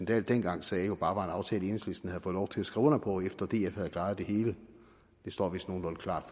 dahl dengang sagde jo bare var en aftale enhedslisten havde fået lov til at skrive under på efter at df havde klaret det hele det står vist nogenlunde klart